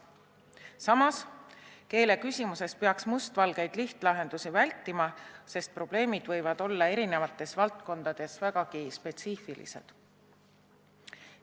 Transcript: Samas, keeleküsimuses peaks vältima must-valgeid lihtlahendusi, sest probleemid võivad erinevates valdkondades olla vägagi spetsiifilised.